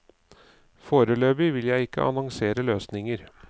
Foreløpig vil jeg ikke annonsere løsninger.